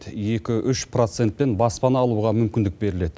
екі үш процентпен баспана алуға мүмкіндік беріледі